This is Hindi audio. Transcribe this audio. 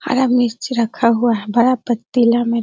हरा मिर्च भी रखा हुआ है बड़ा पतीला में।